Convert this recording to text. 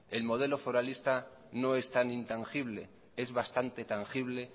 el modelo foralista no es tan intangible es bastante tangible